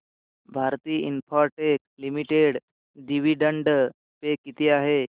Bharti Infratel limited dividend पे किती आहे